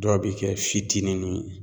Dɔw bɛ kɛ fitininin ye.